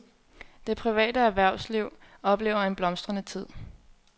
Det private erhvervsliv oplever en blomstrende tid.